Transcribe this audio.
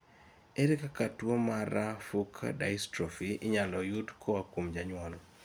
ere kaka tuwo mar fuch dystrophy inyalo yud koa kuom janyuol?